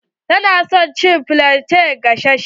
Ta na son cin flante gasashe.